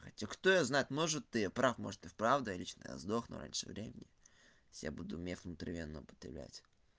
хотя кто его знает может ты и прав может и в правда ли что я сдохну раньше времени если я буду мех внутривенно употреблять